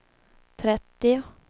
trettio